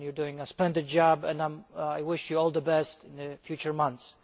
You are doing a splendid job and I wish you all the best in the future months.